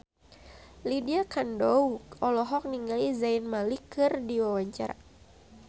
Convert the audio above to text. Lydia Kandou olohok ningali Zayn Malik keur diwawancara